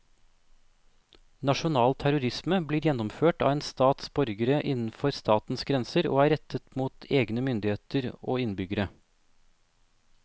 Nasjonal terrorisme blir gjennomført av en stats borgere innenfor statens grenser og er rettet mot egne myndigheter og innbyggere.